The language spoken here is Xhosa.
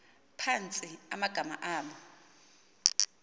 phantsi amagama abo